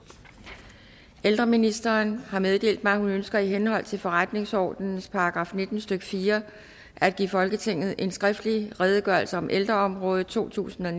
ældreministeren har meddelt mig at hun ønsker i henhold til forretningsordenens § nitten stykke fire at give folketinget en skriftlig redegørelse om ældreområdet totusinde og